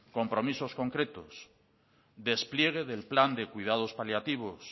compromisos concretos despliegue del plan de cuidados paliativos